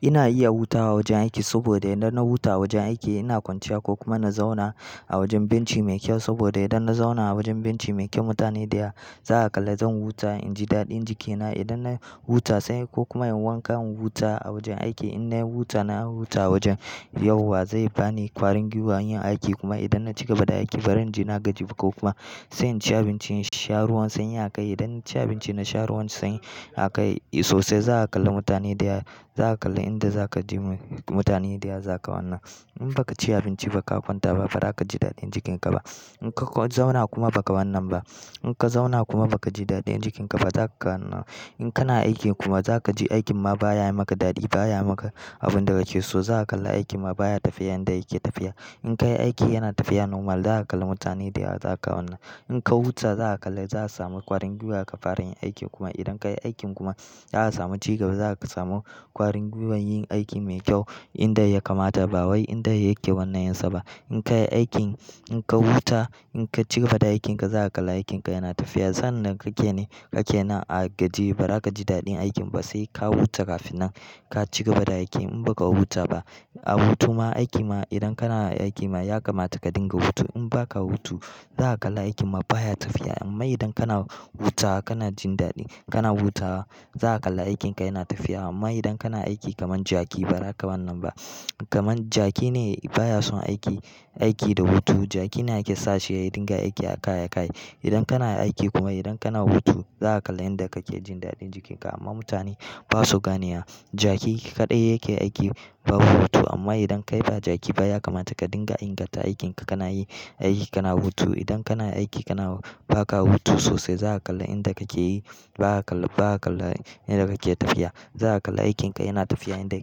Ina iya hutawa awajen aiki saboda idan na huta a wajen aiki ina kwanciya ko kuma na zauna a wajen benchi mai kyau saboda idan na zauna a wajen benchi mai kyau mutane dayawa zaka kalla zan huta inji daɗin jikina. Idan na huta sai ko kuma inyi wanka in huta a wajen aiki in na huta na huta wajen, yauwa zai bani ƙwarin gwiwa yin aiki kuma idan na ci gaba da aiki baranji na gaji ba ko kuma sai in ci abinci in sha ruwan sanyi a kai. Idan na ci abinci na sha ruwan sanyi a kai sosai za'a kalla mutane dayawa zaka kalla inda za ka je mutane dayawa za ka wannan. In baka ci abinciba ka kwanta ba ba za ka ji daɗin jikinka ba. In ka zauna kuma baka wannan ba, in ka zauna kuma baka ji daɗin jikinka ba za kaga, in kana aiki kuma za ka ji aikin ma baya yi maka daɗi baya yi maka abin da ka ke so, zaka kalla aikin ma baya tafiya yanda yake tafiya. In ka yi aiki yana tafiya normal zaka kalla mutane dayawa za ka wannan. In ka huta zaka kalla za ka samu ƙwarin gwiwa ka fara yin aiki kuma idan ka yi aikin kuma ya samu ci gaba za ka samu ƙwarin gwiwan yin aiki mai kyau inda ya kamata ba wai inda yake wannan yanzu ba. In ka yi aikin in ka huta in ka ci gaba da aikinka za ka kalla aikinka yana tafiya. Sannan da kake nake nan a gajiye ba za ka ji daɗin aikin ba sai ka huta kafinan ka ci gaba da aiki. In baka huta ba a hutu ma aiki ma idan kana aiki ma ya kamata ka dinga hutu. In baka hutu za a kalla aikin ma baya tafiya amma idan kana hutawa kana jin daɗi kana hutawa za a kalla aikinka yana tafiya amma idan kana aiki kamar jaki ba za ka wannan ba. Kaman jaki ne baya son aiki, aiki da hutu jaki ne ake sa shi ya dinga aiki a kai a kai. Idan kana aiki kuma idan kana hutu za a kalla inda kake jin daɗin jikinka amma mutane basu gane wa jaki kaɗai yake aiki ba hutu amma idan kai ba jaki baya kamata ka dinga inganta aikinka kana yin aiki kana hutu. Idan kana aiki kana, ba ka hutu sosai zaka kalla inda kake yi ba'a kalla, ba'a kalla inda kake tafiya. Za a kalla aikinka yana tafiya inda ya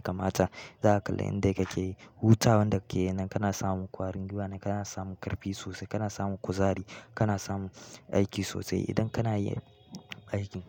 kamata. Za ka kalla inda kake yi. Huta wanda kake yinnan kana samun ƙwarin gwiwa na kana samu ƙarfi sosai kana samun kuzari kana samu aiki sosai idan kana yi aiki.